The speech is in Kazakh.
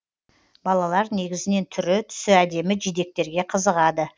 балалар негізінен түрі түсі әдемі жидектерге қызығады